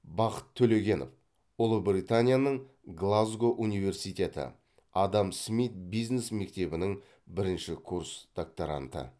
бақыт төлегенов ұлыбританияның глазго университеті адам смит бизнес мектебінің бірінші курс докторанты